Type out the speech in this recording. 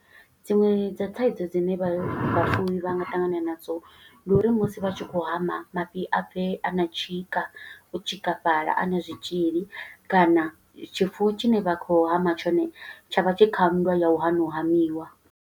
Dziṅwe dza thaidzo dzine vha vhafuwi vha nga ṱangana nadzo, ndi uri musi vha tshi khou hama mafhi a bve a na tshika, u tshikafhala, a na zwitzhili. Kana tshifuwo tshine vha khou hama tshone, tsha vha tshi kha nndwa ya u hana u hamiwa.